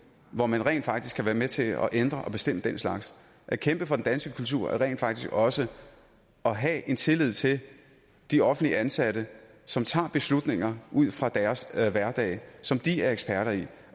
hvor man rent faktisk kan være med til at ændre og bestemme den slags at kæmpe for den danske kultur er rent faktisk også at have en tillid til de offentligt ansatte som tager beslutninger ud fra deres hverdag som de er eksperter i